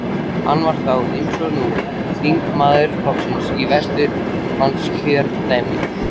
Hann var þá, eins og nú, þingmaður flokksins í Vesturlandskjördæmi.